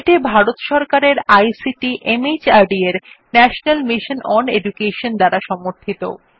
এটি ভারত সরকারের ICT MHRD এর ন্যাশনাল মিশন ওন এডুকেশন দ্বারা সমর্থিত